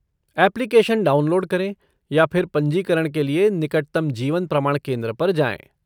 Application download करें या फिर पंजीकरण के लिए निकटतम जीवन प्रमाण केंद्र पर जाएँ।